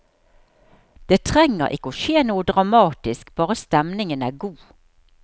Det trenger ikke å skje noe dramatisk, bare stemningen er god.